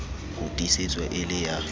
ho tiisetswa e le ya